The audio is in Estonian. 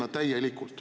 Aitäh!